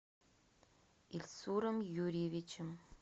ильсуром юрьевичем